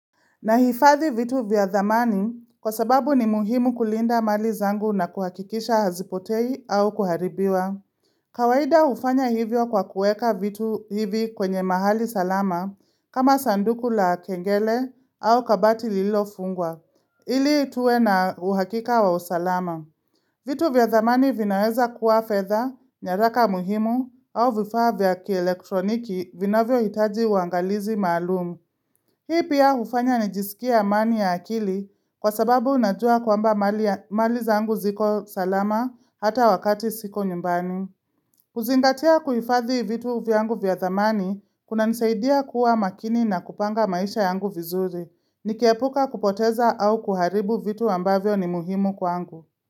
Nahifadhi vitu vya thamani kwa sababu ni muhimu kulinda mali zangu na kuhakikisha hazipotei au kuharibiwa kawaida hufanya hivyo kwa kuweka vitu hivi kwenye mahali salama, kama vile sanduku la kengele au kabati lililofungwa. Ili tuwe na uhakika wa usalama. Vitu vya thamani vinaweza kuwa fedha, nyaraka muhimu, au vifaa vya kielektroniki vinavyohitaji uangalizi maalum Hii pia hufanya nijisikie amani ya akili kwa sababu najua kwamba mali zangu ziko salama, hata wakati siko nyumbani. Kuzingatia kuhifadhi vitu vyangu vya thamani kunanisaidia kuwa makini na kupanga maisha yangu vizuri Nikiepuka kupoteza au kuharibu vitu ambavyo ni muhimu kwangu.